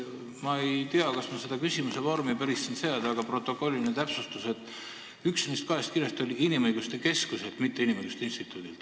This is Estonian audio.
Ma ei tea, kas seda siin päris küsimuse vormi seada, aga mul on protokolliline täpsustus, et üks neist kahest kirjast oli inimõiguste keskuselt, mitte inimõiguste instituudilt.